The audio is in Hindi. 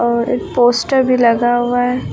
और एक पोस्टर भी लगा हुआ है।